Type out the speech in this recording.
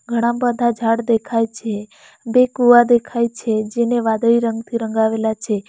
ઘણા બધા ઝાડ દેખાય છે બે કુવા દેખાય છે જેને વાદળી રંગથી રંગાવેલા છે.